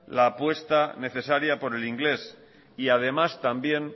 la apuesta necesaria por el inglés y además también